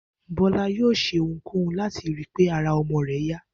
Bó̩lá yóò s̩e ohunkóhun láti ri pé ara o̩mo̩ rè̩ yá